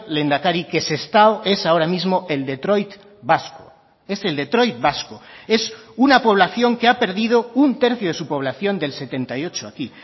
lehendakari que sestao es ahora mismo el detroit vasco es el detroit vasco es una población que ha perdido un tercio de su población del setenta y ocho a aquí